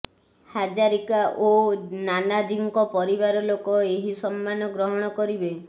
ହାଜାରିକା ଓ ନାନାଜୀଙ୍କ ପରିବାର ଲୋକ ଏହି ସମ୍ମାନ ଗ୍ରହଣ କରିବେ